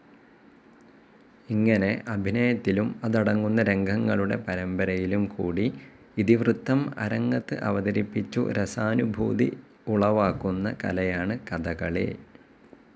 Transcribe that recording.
ഇങ്ങനെ അഭിനയത്തിലും അതടങ്ങുന്ന രംഗങ്ങളുടെ പരമ്പരയിലും കൂടി ഇതിവൃത്തം അരങ്ങത്ത് അവതരിപ്പിച്ചു രസാനുഭൂതി ഉളവാക്കുന്ന കലയാണ് കഥകളി.